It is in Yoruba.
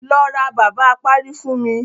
Lọ ra bàbá apárí fún mi.